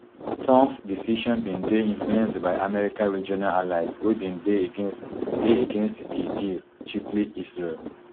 trumps decision bin dey influenced by america regional allies wey bin dey against dey against di deal chiefly israel